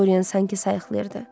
Dorian sanki sayıqlayırdı.